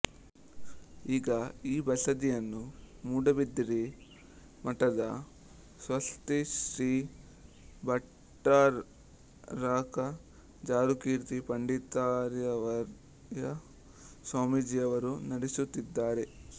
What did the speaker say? ಈಗ ಈ ಬಸದಿಯನ್ನು ಮೂಡಬಿದಿರೆ ಮಠದ ಸ್ವಸ್ತಿಶ್ರೀ ಭಟ್ಟಾರಕ ಜಾರುಕೀರ್ತಿ ಪಂಡಿತಾರ್ಯವರ್ಯ ಸ್ವಾಮಿಜಿಯವರು ನಡೆಸುತ್ತಿದ್ದಾರೆ